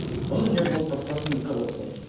он у нее был под классным руководством